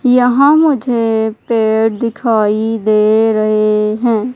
यहां मुझे पेड़ दिखाई दे रहे हैं।